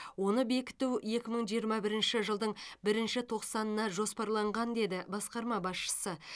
оны бекіту екі мың жиырма бірінші жылдың бірінші тоқсанына жоспарланған деді басқарма басшысы